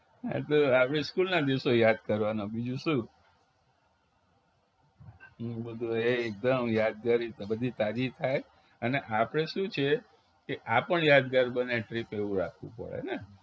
એ તો આપણી school ના દિવસો યાદ કરવાના બીજું શું. ઘણું બધું છે ઘણું યાદ કરી તો બધી તાજી થાય અને આપણે શું છે કે આ પણ યાદગાર બને trip એવું રાખવું પડે ને